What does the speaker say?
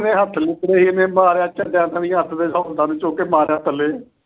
ਕਿਵੇਂ ਹੱਥ ਲਿਵੜੇ। ਇਹਨੇ ਚੁੱਕ ਕੇ ਮਾਰਿਆ ਥੱਲੇ।